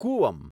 Cooum